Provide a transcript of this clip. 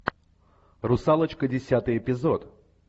русалочка десятый эпизод